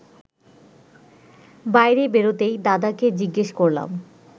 বাইরে বেরোতেই দাদাকে জিজ্ঞেস করলাম